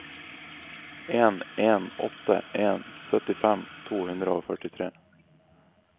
en en åtte en syttifem to hundre og førtitre